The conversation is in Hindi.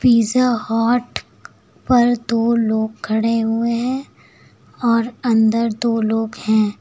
पिज़्ज़ा हॉट पर दो लोग खड़े हुए हैं और अंदर दो लोग हैं।